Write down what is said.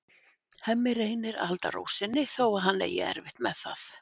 Hemmi reynir að halda ró sinni þó að hann eigi erfitt með það.